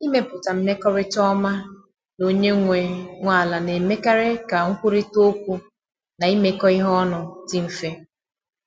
Ịmepụta mmekọrịta ọma na onye nwe nwe ala na-emekarị ka nkwurịta okwu na imekọ ihe ọnụ dị mfe.